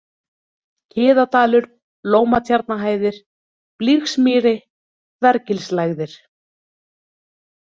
Kiðadalur, Lómatjarnahæðir, Blýgsmýri, Þvergilslægðir